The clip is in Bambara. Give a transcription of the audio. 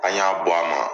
An y'a bɔ a ma